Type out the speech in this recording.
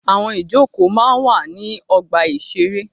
Àwọn ìjókòó máa ń wà ní ọgbà-ìṣeré.